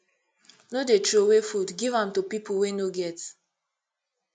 no dey troway food give am to pipu wey no get